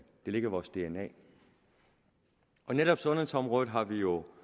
det ligger i vores dna netop sundhedsområdet har vi jo